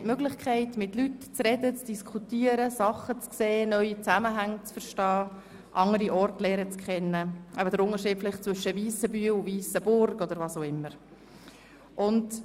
Wir haben dabei die Möglichkeit, mit Leuten zu diskutieren, Dinge zu sehen, neue Zusammenhänge zu verstehen und andere Orte kennenzulernen.